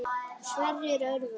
Sverrir Örvar.